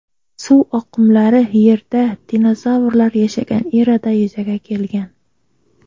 Suv oqimlari Yerda dinozavrlar yashagan erada yuzaga kelgan.